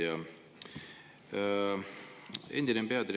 Hea ettekandja!